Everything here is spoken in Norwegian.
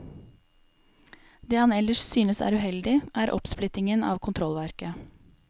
Det han ellers synes er uheldig, er oppsplittingen av kontrollverket.